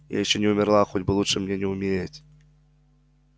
я ещё не умерла хоть лучше бы мне умереть